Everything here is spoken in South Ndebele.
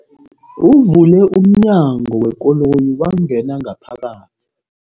Uvule umnyango wekoloyi wangena ngaphakathi.